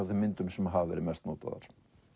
þeim myndum sem hafa verið mest notaðar